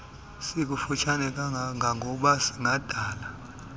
sikufutshane kangangoba singadala